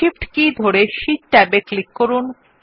Shift কীটি ধরে sheet ট্যাবে ক্লিক করুন